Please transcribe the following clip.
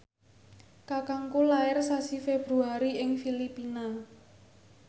kakangku lair sasi Februari ing Filipina